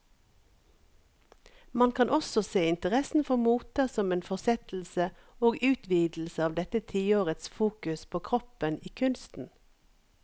Man kan også se interessen for moter som en fortsettelse og utvidelse av dette tiårets fokus på kroppen i kunsten.